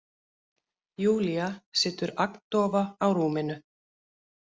Júlía situr agndofa á rúminu.